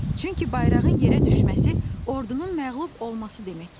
Çünki bayrağın yerə düşməsi ordunun məğlub olması demək idi.